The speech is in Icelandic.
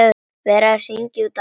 Verið að hringja út árið.